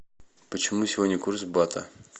почем сегодня курс бата